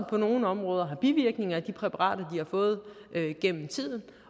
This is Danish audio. på nogle områder har bivirkninger af de præparater de har fået igennem tiden